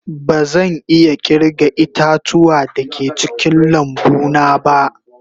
Bazan iya kirga ita-tuwa da ke cikin lambu na ba.